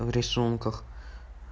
а в рисунках